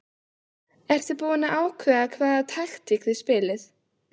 Ertu búinn að ákveða hvaða taktík þið spilið?